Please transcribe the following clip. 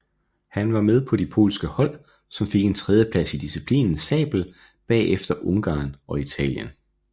Han var med på de polske hold som fik en tredjeplads i disciplinen sabel bagefter Ungarn og Italien